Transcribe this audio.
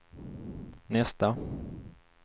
nästa